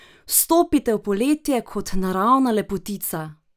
Vstopite v poletje kot naravna lepotica!